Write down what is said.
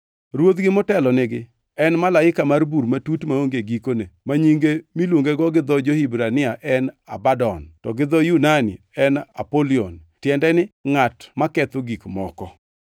Ruodhgi motelo nigi en malaika mar bur matut maonge gikone ma nyinge miluongego gi dho jo-Hibrania en Abadon, to gi dho jo-Yunani en Apoluon (tiende ni Ngʼat maketho gik moko).